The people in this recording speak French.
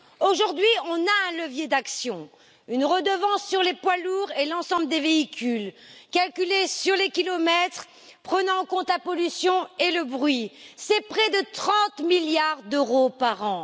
Aujourd'hui, on a un levier d'action une redevance sur les poids lourds et l'ensemble des véhicules, calculée sur les kilomètres parcourus et prenant en compte la pollution et le bruit. C'est près de 30 milliards d'euros par an!